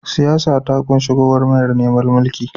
Siyasa ta kunshi gwagwarmayar neman mulki.